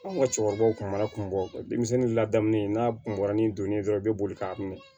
Anw ka cɛkɔrɔbaw kun b'a kun bɔ denmisɛnnin ladamu in n'a kunbɛn ni donni ye dɔrɔn i bɛ boli k'a minɛ